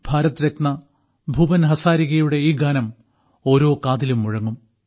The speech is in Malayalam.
ഭാരതരത്ന ഭൂപൻ ഹസാരികയുടെ ഈ ഗാനം ഓരോ കാതിലും മുഴങ്ങും